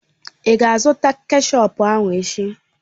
Ị ga-azụta kechọp ahụ echi?